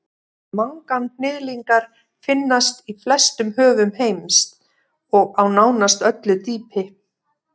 manganhnyðlingar finnast í flestum höfum heims og á nánast öllu dýpi